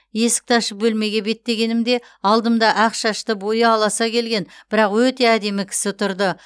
есікті ашып бөлмеге беттегенімде алдымда ақ шашты бойы аласа келген бірақ өте әдемі кісі тұрды